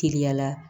Teliyala